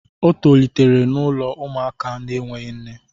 O tolitere n'ụlọ ụmụaka na-enweghị nne